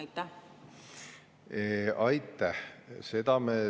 Aitäh!